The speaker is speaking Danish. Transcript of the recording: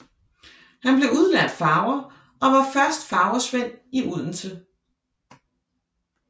Han blev udlært farver og var først farversvend i Odense